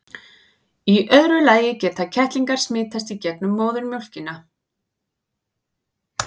í öðru lagi geta kettlingar smitast í gegnum móðurmjólkina